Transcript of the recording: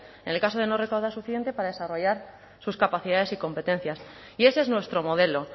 en el caso de no recaudar lo suficiente para desarrollar sus capacidades y competencias y ese es nuestro modelo